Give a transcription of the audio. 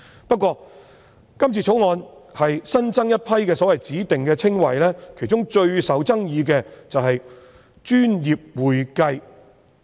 不過，《條例草案》新增一批指定稱謂，其中最受爭議的是"專業會計"。